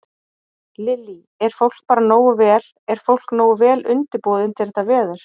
Lillý: Er fólk bara nógu vel, er fólk nógu vel undirbúið undir þetta veður?